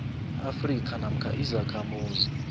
afrika namkha izakhamuzi